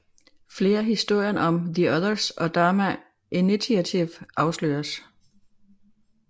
Flere historier om the Others og Dharma Initiative afsløredes